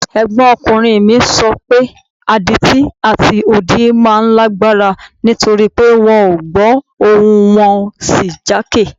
Ẹ̀gbọ́nkùnrin mi sọ páwọn adití àti odi máa ń lágbára nítorí pé wọn ò gbọ́ ohùn wọn ò sì jákè